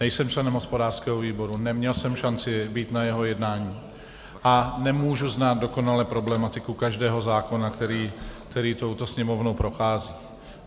Nejsem členem hospodářského výboru, neměl jsem šanci být na jeho jednání a nemůžu znát dokonale problematiku každého zákona, který touto Sněmovnou prochází.